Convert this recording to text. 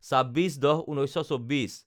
২৬/১০/১৯২৪